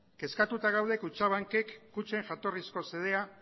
kutxabankek kutxen jatorrizko xedea